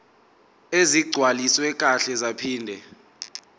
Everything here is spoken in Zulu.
ezigcwaliswe kahle zaphinde